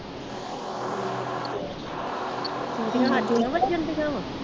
ਹਾਡੀਆ ਵੱਜਣ ਦੀਆ ਵਾ?